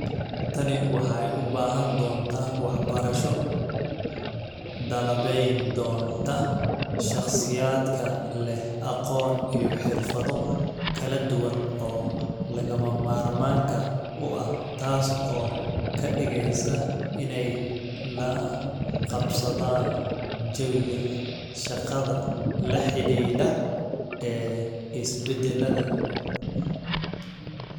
Tani waxay u baahan doontaa waxbarasho qalabayn doonta shakhsiyaadka leh aqoon iyo xirfado kala duwan oo lagama maarmaanka u ah taas oo ka dhigaysa inay la qabsadaan jawiga shaqada la xidhiidha ee is-beddelaya.